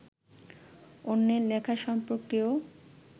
অন্যের লেখা সম্পর্কেও